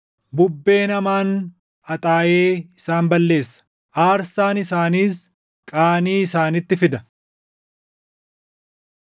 Bubbeen hamaan haxaaʼee isaan balleessa; aarsaan isaaniis qaanii isaanitti fida.